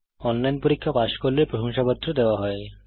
online পরীক্ষা pass করলে প্রশংসাপত্র দেওয়া হয়